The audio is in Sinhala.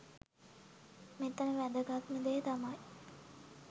මෙතන වැදගත්ම දේ තමයි